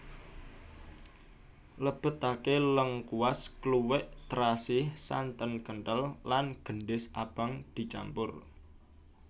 Lebetake lengkuas kluwek terasi santen kentel lan gendhis abang dicampur